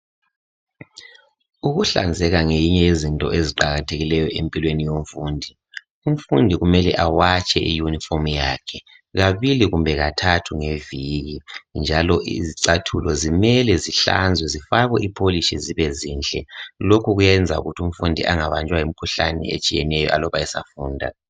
Ukuhlanzeka ngenye yezinto eziqakathekileyo empilweni yomfundi. Umfundi kumele awatshe iyunifomu yakhe, kabili kumbe kathathu ngeviki. Njalo izicathulo kumele zihlanzwe, zifakwe ipolish., zibezinhle. Lokhu kuyenza ukuthi umfundi angabanjwa yimikhuhlane etshiyeneyo, aluba esafunda.